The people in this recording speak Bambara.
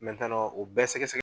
u bɛɛ sɛgɛ sɛgɛ